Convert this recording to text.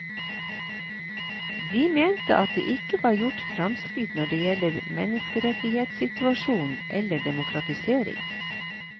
De mente at det ikke var gjort framskritt når det gjelder menneskerettighetssituasjonen eller demokratisering.